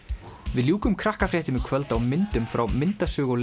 við ljúkum Krakkafréttum í kvöld á myndum frá myndasögu og